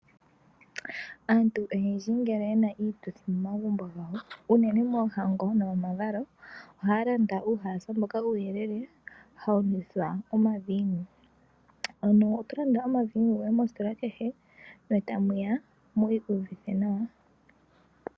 Aantu oyendji ngele yena iituthi momagumbo gawo unene moohango, nomomavalo ohaalanda uuhalasa mboka uuyelele hawunwithwa omaviinu. Ano otolanda omaviinu goye mositola kehe etamuya mwikiiyuvithe nawa.